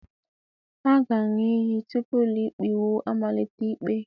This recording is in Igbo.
A ga-aṅụ iyi tupu ụlọikpe iwu amalite ikpe